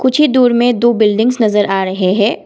कुछ ही दूर में दो बिल्डिंग्स नजर आ रहे हैं।